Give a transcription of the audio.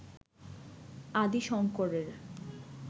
আদি শঙ্করের